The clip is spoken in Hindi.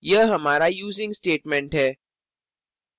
यह हमारा using statement है